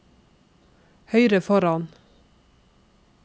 høyre foran